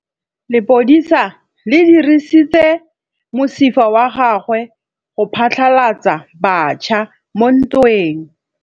Lepodisa le dirisitse mosifa wa gagwe go phatlalatsa batšha mo ntweng.